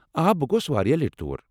آ، بہٕ گوس واریاہ لٹہِ تور۔